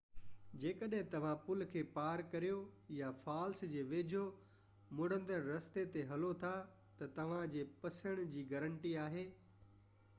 جيڪڏهن توهان پل کي پار ڪريو يا فالس جي ويجهو مڙندڙ رستي تي هلو ٿا ته توهانجي پسڻ جي گارنٽي آهي